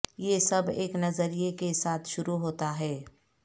یہ سب ایک نظریہ کے ساتھ شروع ہوتا ہے